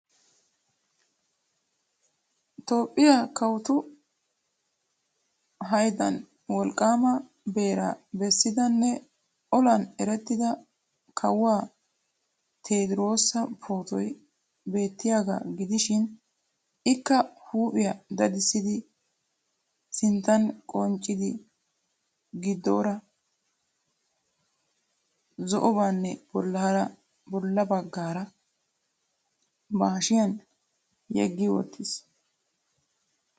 Toophphiya kawotu hayddan wolqqaama beeraa bessidanne olan erettida kawuwa tediroosa pootoy beettiyagaa gidishiin ikka huuphphiya dadissidi, sinttan qachchidi, gidoora zo'obaanne bollaara bullabaa ba hashshiyan yegi wottiis.